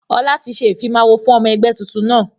Ọlá tí ṣe ìfimawo fún ọmọ ẹgbẹ́ tuntun náà.